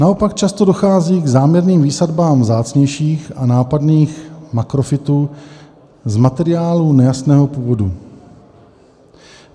Naopak často dochází k záměrným výsadbám vzácnějších a nápadných makrofytů z materiálu nejasného původu.